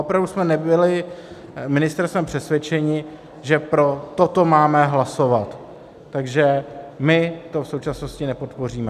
Opravdu jsme nebyli ministerstvem přesvědčeni, že pro toto máme hlasovat, takže my to v současnosti nepodpoříme.